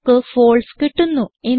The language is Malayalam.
നമുക്ക് ഫാൽസെ കിട്ടുന്നു